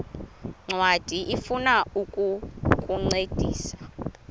ncwadi ifuna ukukuncedisa